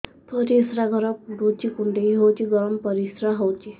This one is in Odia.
ପରିସ୍ରା ଘର ପୁଡୁଚି କୁଣ୍ଡେଇ ହଉଚି ଗରମ ପରିସ୍ରା ହଉଚି